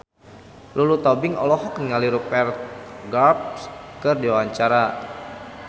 Lulu Tobing olohok ningali Rupert Graves keur diwawancara